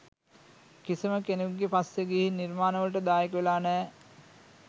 කිසිම කෙනෙකුගේ පස්සේ ගිහින් නිර්මාණවලට දායක වෙලා නෑ